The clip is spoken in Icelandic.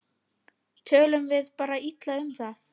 Tölum við bara illa um það?